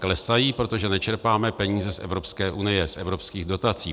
Klesají, protože nečerpáme peníze z Evropské unie, z evropských dotací.